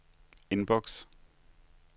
indboks